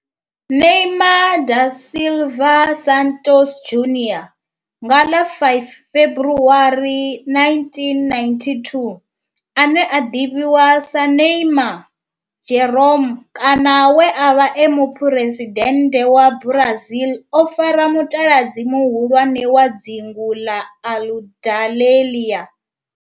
Neymar da Silva Santos Junior, nga ḽa 5 February 1992, ane a ḓivhiwa sa Ne'ymar' Jeromme kana we a vha e muphuresidennde wa Brazil o fara mutaladzi muhulwane wa dzingu la Aludalelia.